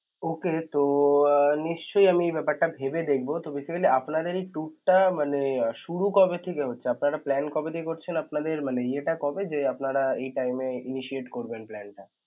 okay তো আহ নিশ্চয় আমি ব্যাপারটা ভেবে দেখবো তবে আপনাদের এই tour টা আহ মানে শুরু কবে থেকে হচ্ছে, আপনারা plan কবে থেকে করছেন আপনাদের মানে ইয়েটা কবে যে আপনারা এই time এ initiate করবেন plan টা.